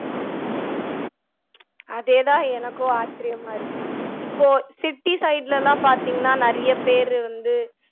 அதே தான் எனக்கும் ஆச்சரியமா இருக்கு இப்போ city side லேலாம் பாத்தீங்கன்னா நிறைய பேரு வந்து